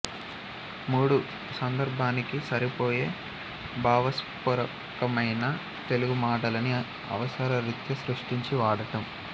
మూడు సందర్భానికి సరిపోయే భావస్పోరకమైన తెలుగు మాటలని అవసర రీత్యా సృష్టించి వాడటం